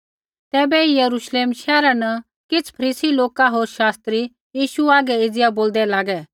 तैबै यरूश्लेम शैहरा न किछ़ फरीसी लोका होर शास्त्री यीशु हागै एज़िया बोलदै लागे